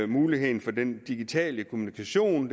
muligheden for den digitale kommunikation